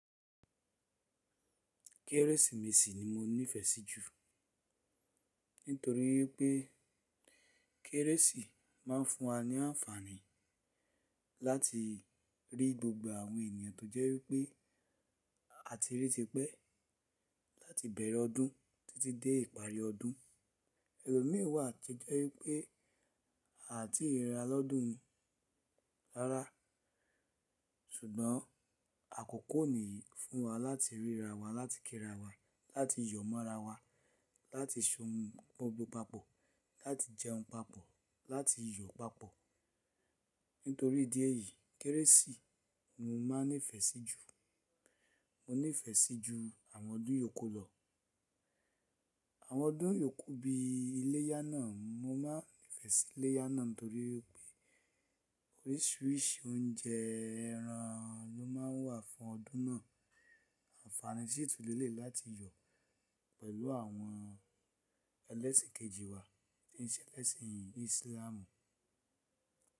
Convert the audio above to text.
Kérésìmesì ni mo nífẹ̀ẹ́ sí jù. Nítorí pé kérésì máa ń fún wa ní àǹfààní láti rí gbogbo àwọn ènìyàn tó jẹ́ wípé àti rí tipẹ́ láti bẹ̀rẹ̀ ọdún títí dé ìparí ọdún. Ẹ̀lomín wà to jẹ́ wípé à tí rira lọ́dún yi rárá ṣùgbọ́n àkókò nìí fún wa láti rírawa, láti kírawa, láti yọ̀ mọ́rawa, láti ṣe ohun gbogbo papọ̀, láti jẹun papọ̀, láti yọ̀ papọ̀. Nítorí idí èyí kérésì mo máa nífẹ̀ẹ́ sí jù. Mo nífẹ̀ẹ́ sí jù àwọn ọdún yòókù lọ. Àwọn ọdún yòókù bí iléyá náà, mo máa nífẹ̀ẹ́ sí iléyá náà nítorí pé oríṣiríṣi oúnjẹ ẹran ló máa ń wà fún ọdún náà. Àǹfààní sí tún lé lẹ̀yi láti yọ̀ pẹ̀lú àwọn ẹlẹ́sìn kejì wa tí ń ṣe ẹlẹ́sìn ìsílámù.